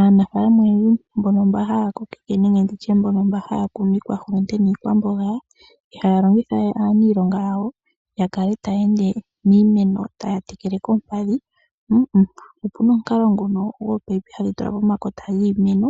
Aanafaalama oyendji mba haya kokitha nenge nditye mba haya kunu iikwahulunde niikwamboga, ihaya longitha we aaniilonga yawo yakale taya ende miimeno taya tekele koompadhi, opuna omukalo nguno goopayipi hadhi tulwa pomakota giimeno